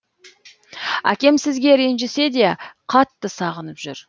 әкем сізге ренжісе де қатты сағынып жүр